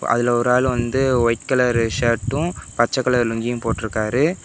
அதுல ஒரு ஆள் வந்து ஒயிட் கலர் சர்ட்டும் பச்ச கலர் லுங்கியும் போட்ருக்காரு.